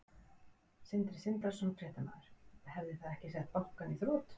Sindri Sindrason, fréttamaður: Hefði það ekki sett bankann í þrot?